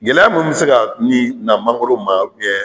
Gɛlɛya minnu bɛ se ka ni na mangoro ma